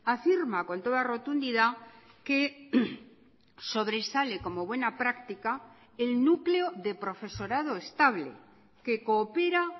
afirma con toda rotundidad que sobresale como buena práctica el núcleo de profesorado estable que coopera